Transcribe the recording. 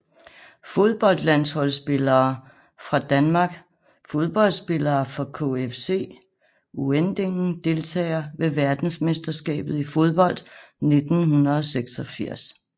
Fodboldlandsholdsspillere fra Danmark Fodboldspillere fra KFC Uerdingen Deltagere ved verdensmesterskabet i fodbold 1986